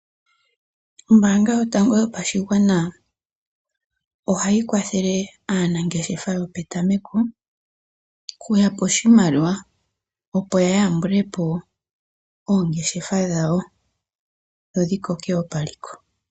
Ombaanga yotango yopashigwana ohayi kwathele aanangeshefa yo petameko oku ya pa oshimaliwa, opo ya yambulepo oongeshefa dhawo, dho dhi koke woo paliko.